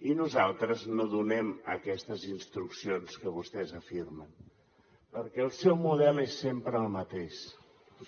i nosaltres no donem aquestes instruccions que vostès afirmen perquè el seu model és sempre el mateix